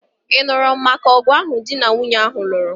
Ị nụrụ maka ọgụ ahụ di na nwunye ahụ lụrụ?